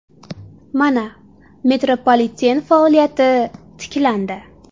Mana, metropoliten faoliyati tiklandi.